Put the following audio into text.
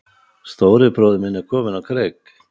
Stóri bróðir kominn á kreik